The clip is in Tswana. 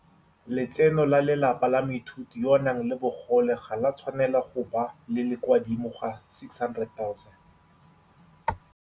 Letseno la lelapa la moithuti yo a nang le bogole ga le a tshwanela go bo le le kwa godimo ga R600 000.